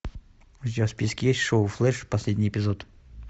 у тебя в списке есть шоу флэш последний эпизод